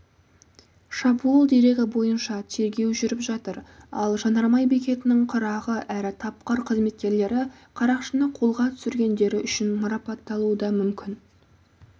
шабуыл дерегі бойынша тергеу жүріп жатыр ал жанармай бекетінің қырағы әрі тапқыр қызметкерлері қарақшыны қолға түсіргендері үшін марапатталуы дамүмкін